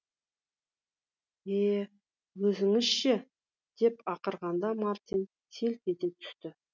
е өзіңізге ше деп ақырғанда мартин селк ете түсті